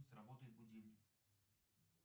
сработает будильник